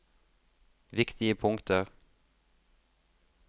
viktige punkter